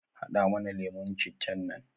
Hada mana lemun cittan nan